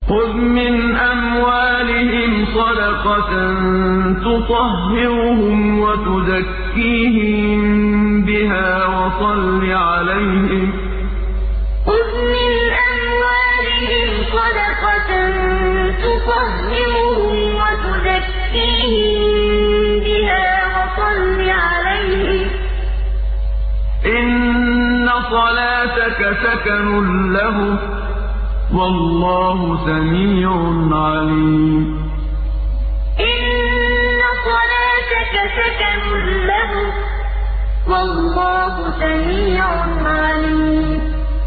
خُذْ مِنْ أَمْوَالِهِمْ صَدَقَةً تُطَهِّرُهُمْ وَتُزَكِّيهِم بِهَا وَصَلِّ عَلَيْهِمْ ۖ إِنَّ صَلَاتَكَ سَكَنٌ لَّهُمْ ۗ وَاللَّهُ سَمِيعٌ عَلِيمٌ خُذْ مِنْ أَمْوَالِهِمْ صَدَقَةً تُطَهِّرُهُمْ وَتُزَكِّيهِم بِهَا وَصَلِّ عَلَيْهِمْ ۖ إِنَّ صَلَاتَكَ سَكَنٌ لَّهُمْ ۗ وَاللَّهُ سَمِيعٌ عَلِيمٌ